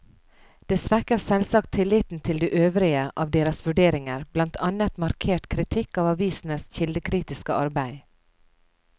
Det svekker selvsagt tilliten til de øvrige av deres vurderinger, blant annet markert kritikk av avisenes kildekritiske arbeid.